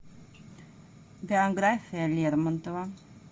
биография лермонтова